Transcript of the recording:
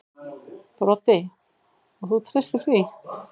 Broddi: Og þú treystir því?